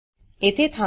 येथे थांबा